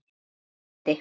Elsku Eddi.